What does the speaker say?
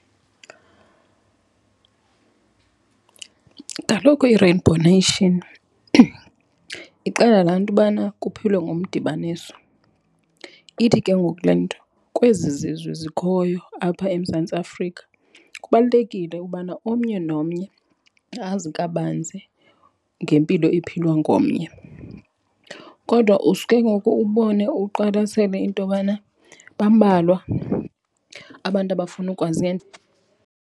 Kaloku i-rainbow nation ixela laa nto ubana kuphilwe ngomdibaniso. Ithi ke ngoku le nto kwezi zizwe zikhoyo apha eMzantsi Afrika kubalulekile ubana omnye nomnye azi kabanzi ngempilo ephilwa ngomnye. Kodwa uske ke ngoku ubone, uqwalasele into yobana bambalwa abantu abafuna ukwazi .